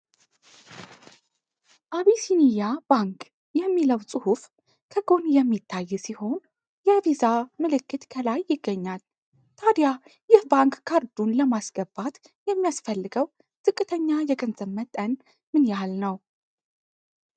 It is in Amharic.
"አቢሲንያ ባንክ" የሚለው ፅሁፍ ከጎን የሚታይ ሲሆን፣ የ"ቪዛ" ምልክት ከላይ ይገኛል። ታዲያ ይህ ባንክ ካርዱን ለማስገባት የሚያስፈልገው ዝቅተኛ የገንዘብ መጠን ምን ያህል ነው?